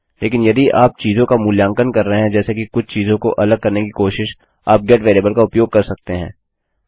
लेकिन यदि आप चीजों का मूल्यांकन कर रहे हैं जैसे कि कुछ चीजों को अलग करने की कोशिश आप गेट वेरिएबल का उपयोग कर सकते हैं